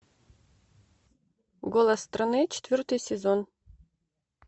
голос страны четвертый сезон